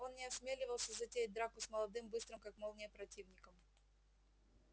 он не осмеливался затеять драку с молодым быстрым как молния противником